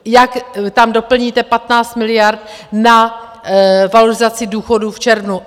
Jak tam doplníte 15 miliard na valorizaci důchodů v červnu?